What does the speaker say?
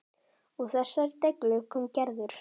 Úr þessari deiglu kom Gerður.